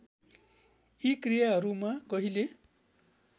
यी क्रियाहरूमा कहिले